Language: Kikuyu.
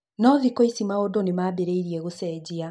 No thikũ ici maũndũ nĩmambĩrĩirie gũcenjia